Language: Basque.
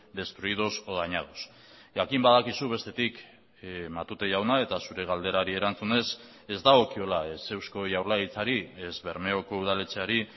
destruidos o dañados jakin badakizu bestetik matute jauna eta zure galderari erantzunez ez dagokiola ez eusko jaurlaritzari ez bermeoko udaletzeari